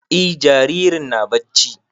E jaririn na barci